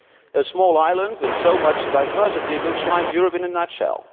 A small island with so much diversity looks like Europe in a nutshell.